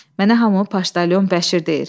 Mənə hamı Paşdalyon Bəşir deyir.